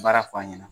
Baara fɔ a ɲɛna